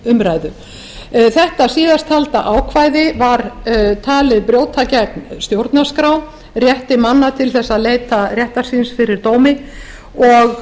umræðu þetta síðasttalda ákvæði var talið brjóta gegn stjórnarskrá rétti manna til þess að leita réttar síns fyrir dómi og